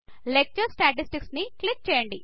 lecture statistics ని click చేయండి